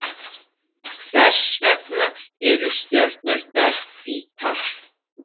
Hvers vegna eru stjörnurnar hvítar?